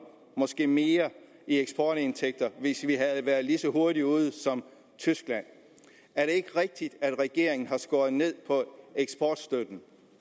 måske mere i eksportindtægter hvis vi havde været lige så hurtigt ude som tyskland er det ikke rigtigt at regeringen har skåret ned på eksportstøtten